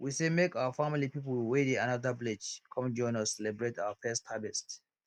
we say make our family people wey dey anoda village come join us celebrate our first harvest